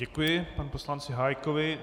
Děkuji panu poslanci Hájkovi.